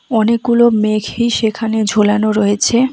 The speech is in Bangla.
অনেকগুলো মেঘি সেখানে ঝোলানো রয়েছে।